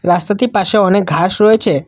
রাস্তাটির পাশে অনেক ঘাস রয়েছে।